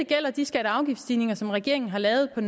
gælder de skatte og afgiftsstigninger som regeringen har lavet i